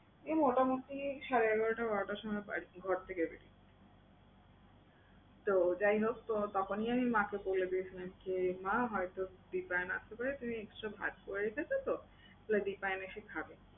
এই মোটামুটি সাড়ে এগারোটা বারোটার সময় বাড়ি ঘর থেকে বের হই। তো যাই হোক তো তখনই আমি মাকে বলে দিয়েছিলাম কে মা হয়তো দিপায়ন আসতে পারে তুমি extra ভাত করে রেখেছো তো? দিপায়ন এসে খাবে।